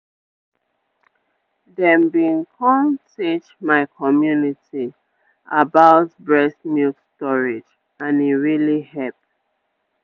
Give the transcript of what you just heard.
dem bin come teach my community about breast milk storage and e really hep.